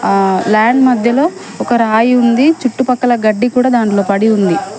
ఆ ల్యాండ్ మధ్యలో ఒక రాయి ఉంది చుట్టుపక్కల గడ్డి కూడా దాంట్లో పడి ఉంది.